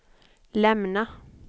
lämna